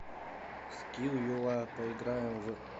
скилл юла поиграем в